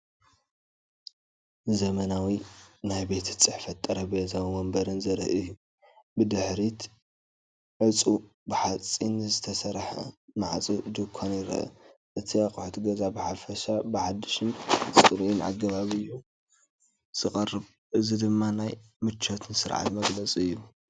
ዘመናዊ ናይ ቤት ጽሕፈት ጠረጴዛን መንበርን ዘርኢ እዩ። ብድሕሪት ዕጹው ብሓጺን ዝተሰርሐ ማዕጾ ድኳን ይርአ። እቲ ኣቑሑት ገዛ ብሓፈሻ ብሓድሽን ጽሩይን ኣገባብ እዩ ዝቐርብ። እዚ ድማ ናይ ምቾትን ስርዓትን መግለፂን እዩ።